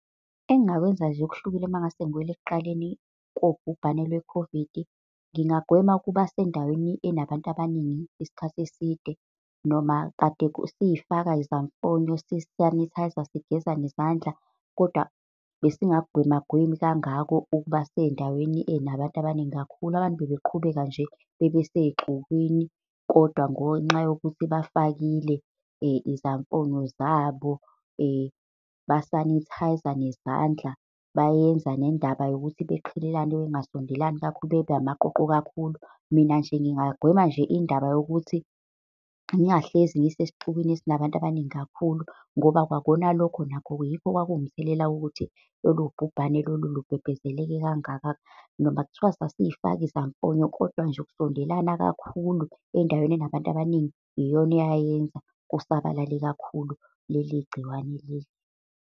Engingakwenza nje okuhlukile, uma ngingase ngibuyela ekuqaleni kobhubhane lweKhovidi, ngingagwema ukuba sendaweni enabantu abaningi isikhathi eside. Noma kade siyifaka izamfonyo sisanithayza, sigeza nezandla, kodwa besingakugwema gwemi kangako ukuba sey'ndaweni ey'nabantu abaningi kakhulu. Abantu babeqhubeka nje bebe sey'xukwini, kodwa ngonxa yokuthi bafakile izamfonyo zabo basanithayza nezandla, bayenza nendaba yokuthi beqhelelane, bengasondelani kakhulu, bebe amaqoqo kakhulu. Mina nje ngingagwema indaba yokuthi ngingahlezi ngisesixukwini esinabantu abaningi kakhulu, ngoba kwakhona lokho nakho, yikho okwakuwumthelela wokuthi lolu bhubhane lolu lubhebhezeleke kangaka. Noma kuthiwa sasiy'faka izamfonyo, kodwa nje ukusondelana kakhulu endaweni enabantu abaningi, iyona eyayenza kusabalale kakhulu leli gciwane leli.